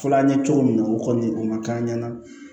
Fɔ an ɲɛ cogo min na o kɔni o ma k'an ɲɛna